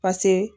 pase